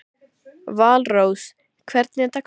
Valrós, hvernig er dagskráin?